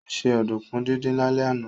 Ó se ọ̀dùnkún díndín lálẹ́ àná